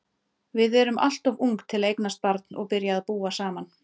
Við erum alltof ung til að eignast barn og byrja að búa saman.